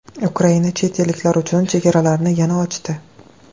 Ukraina chet elliklar uchun chegaralarini yana ochdi.